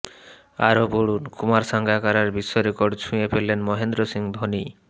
আরও পড়ুন কুমার সাঙ্গাকারার বিশ্বরেকর্ড ছুঁয়ে ফেললেন মহেন্দ্র সিং ধোনি